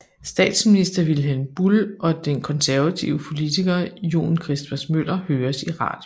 Statsminister Vilhelm Buhl og den konservative politiker John Christmas Møller høres i radioen